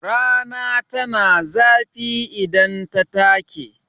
Rana tana zafi idan ta take.